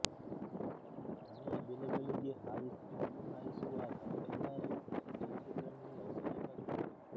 ಮನೆಯ ಬಿಲಗಳಿಗೆ ಹಾಯಿಸಿ ಇಲಿ ಹಾಯಿಸುವಾಗ ಎಲ್ಲ ರೀತಿಯ ಎಚ್ಚರಿಕೆಗಳನ್ನೂ ವಹಿಸಬೇಕಾಗುತ್ತದೆ